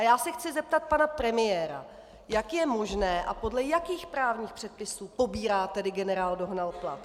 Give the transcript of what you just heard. A já se chci zeptat pana premiéra: Jak je možné a podle jakých právních předpisů pobírá tedy generál Dohnal plat?